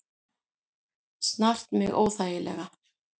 Snart mig óþægilega.